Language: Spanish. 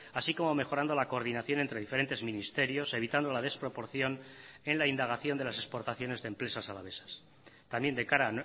así como mejorando la coordinación entre diferentes ministerios evitando la desproporción en la indagación de las exportaciones de empresas alavesas también de cara